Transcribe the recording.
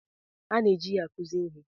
A na-eji ya akụzi ihe.